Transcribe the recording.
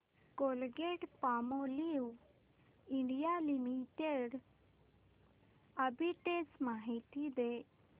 Colgate Palmolive India limited arbitrage माहिती दे